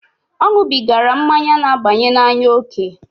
O nwubigara mmanya n'abanye n'anya oke.